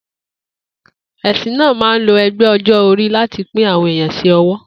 È̩sìn náà máa ń lo e̩gbé̩ o̩jó̩-orí láti pín àwo̩n èèyàn sí ò̩wó̩